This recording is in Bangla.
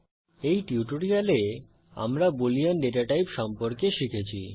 এই টিউটোরিয়ালে আমরা বুলিন ডেটা টাইপ সম্পর্কে শিখেছি